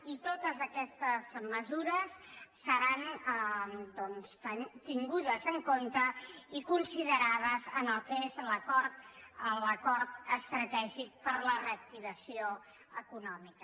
i totes aquestes mesures seran doncs tingudes en compte i considerades en el que és l’acord estratègic per a la re·activació econòmica